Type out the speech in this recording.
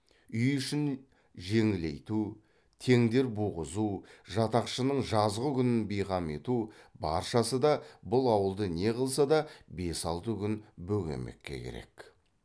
үй ішін жеңілейту теңдер буғызу жатақшының жазғы күнін бейқам ету баршасы да бұл ауылды не қылса да бес алты күн бөгемекке керек